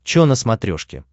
че на смотрешке